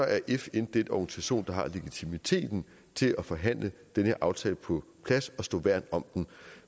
er fn den organisation der har legitimiteten til at forhandle den her aftale på plads og stå værn om den